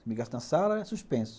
Se me agarra na sala, é suspenso.